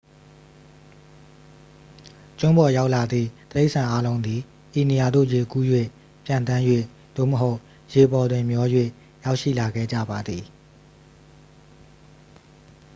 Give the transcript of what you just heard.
ကျွန်းပေါ်ရောက်လာသည့် တိရစ္ဆာန်အားလုံးသည် ဤနေရာသို့ ရေကူး၍ ပျံသန်း၍ သို့မဟုတ် ရေပေါ်တွင်မျော၍ ရောက်ရှိလာခဲ့ကြပါသည်